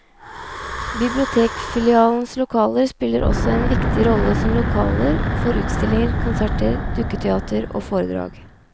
Bibliotekfilialenes lokaler spiller også en viktig rolle som lokaler for utstillinger, konserter, dukketeater og foredrag.